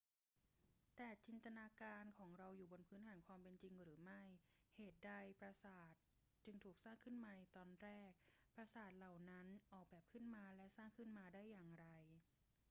แต่จินตนาการของเราอยู่บนพื้นฐานความเป็นจริงหรือไม่ เหตุใดปราสาทจึงถูกสร้างขึ้นมาในตอนแรก ปราสาทเหล่านั้นออกแบบขึ้นมาและสร้างขึ้นมาได้อย่างไร